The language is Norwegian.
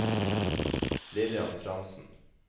Lillian Frantzen